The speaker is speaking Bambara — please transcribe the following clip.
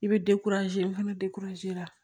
I bɛ fana la